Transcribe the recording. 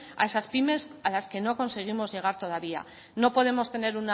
a esas pymes a las que no conseguimos llegar todavía no podemos tener